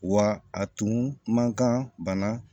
Wa a tun man kan bana